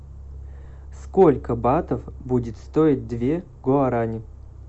сколько батов будет стоить две гуарани